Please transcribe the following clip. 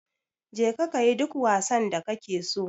Je ka kayi duk wasan da kake so